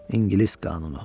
İngilis qanunu.